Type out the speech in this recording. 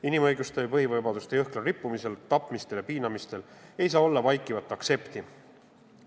Inimõiguste ja põhivabaduste jõhkral rikkumisel, tapmisel ja piinamisel ei saa olla vaikivat aktsepti.